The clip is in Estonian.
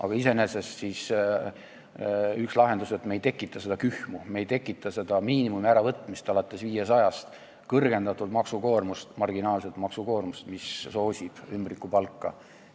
Aga üks lahendus on, et me ei tekita seda kühmu, me ei tekita miinimumi äravõtmist alates 500 eurost, kõrgendatud marginaalset maksukoormust, mis soosib ümbrikupalka.